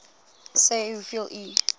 sê hoeveel u